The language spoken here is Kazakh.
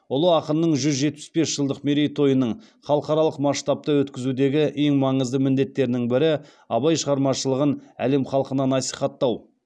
ұлы ақынның жүз жетпіс бес жылдық мерейтойының халықаралық масштабта өткізудегі ең маңызды міндеттердің бірі абай шығармашылығын әлем халқына насихаттау